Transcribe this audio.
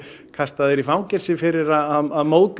kasta þér í fangelsi fyrir að móðga